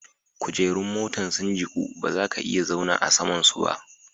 Kujerun motan sun jiku ba za ka iya zauna a sama'n su ba.